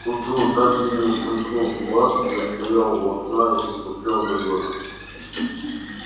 к утру так и не сомкнув глаз я стоял у окна и смотрел на город